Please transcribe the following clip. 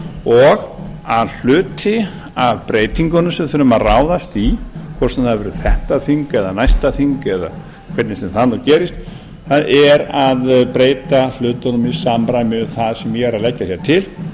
og að hluti af breytingunum sem við þurfum að ráðast í hvort sem það verður þetta þing næsta þing eða hver sem það gerist það er að breyta hlutunum í samræmi við það sem ég er að leggja til